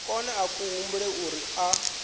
kone a humbula uri a